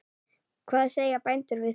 Hvað segja bændur við því?